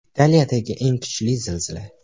Italiyadagi eng kuchli zilzila.